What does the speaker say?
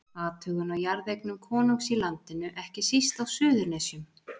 Athugun á jarðeignum konungs í landinu, ekki síst á Suðurnesjum.